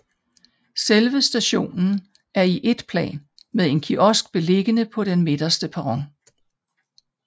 Selve stationen er i ét plan med en kiosk beliggende på den midterste perron